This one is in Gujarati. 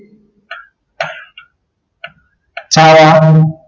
શાળા નું